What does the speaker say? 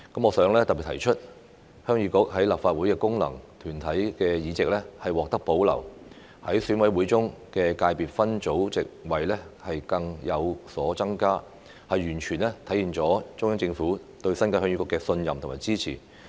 我想特別提出，鄉議局在立法會的功能界別議席獲得保留，在選委會中的界別分組席位更有所增加，完全體現了中央政府對鄉議局的信任和支持。